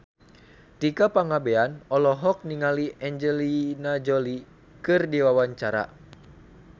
Tika Pangabean olohok ningali Angelina Jolie keur diwawancara